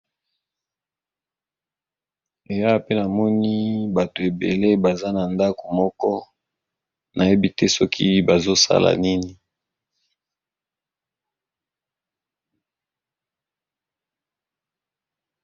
Eh awa pe namoni bato ebele baza na ndako moko, nayebi te soki bazo sala nini.